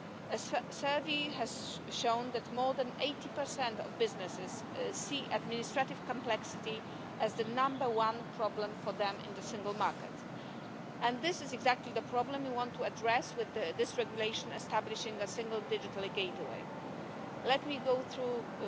anyone looking for assistance will be guided towards the service that is most suited to help. Let me conclude by saying that users are at the centre of our interest. Users should not be asked to adapt to public authorities, but the other way round. This is what this regulation will ensure. With this regulation,